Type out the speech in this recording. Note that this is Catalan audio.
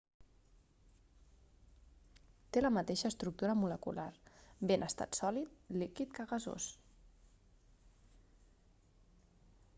té la mateixa estructura molecular bé en estat sòlid líquid que gasós